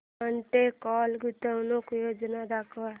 Monte Carlo गुंतवणूक योजना दाखव